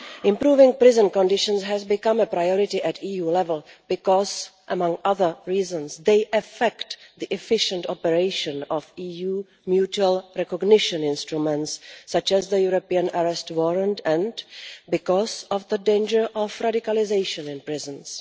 Improving prison conditions has become a priority at EU level because, among other reasons, they affect the efficient operation of EU mutual recognition instruments such as the European Arrest Warrant and because of the danger of radicalisation in prisons.